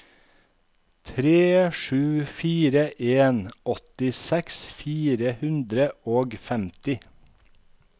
tre sju fire en åttiseks fire hundre og femti